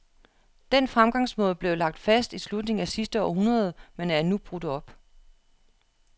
Den fremgangsmåde blev lagt fast i slutningen af sidste århundrede, men er nu brudt op.